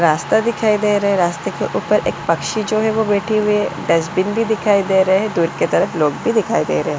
रास्ता दिखाई दे रहा है रास्ते के ऊपर एक पक्षी जो है वो बैठे हुए डस्टबिन भी दिखाई दे रहे दूर के तरफ लोग भी दिखाई दे रहे --